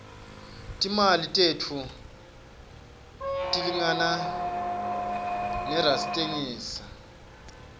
timali tethu tilingana rustengisa